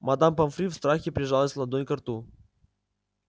мадам помфри в страхе прижала ладонь ко рту